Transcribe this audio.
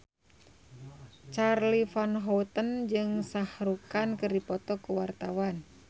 Charly Van Houten jeung Shah Rukh Khan keur dipoto ku wartawan